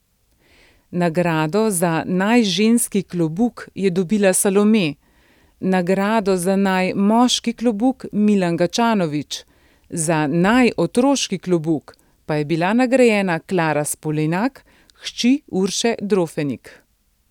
Nagrado za naj ženski klobuk je dobila Salome, nagrado za naj moški klobuk Milan Gačanovič, za naj otroški klobuk pa je bila nagrajena Klara Spolenak, hči Urše Drofenik.